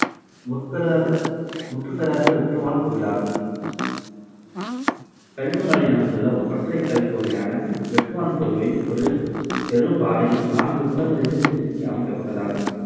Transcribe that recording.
முற்பெறாத~ முற்றுப்பெறாத வெட்டுவான் கோவிலாகும். கழுகுமலையில் அமைந்துள்ள ஒற்றைக்கல் கோவிலான வெட்டுவான் கோவில் ஒரு பெரும் பாறையின் நான்கு புறங்களிலும் செதுக்கி அமைக்கப்பட்டதாகும். .